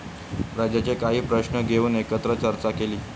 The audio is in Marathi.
राज्याचे काही प्रश्न घेऊन एकत्र चर्चा केली.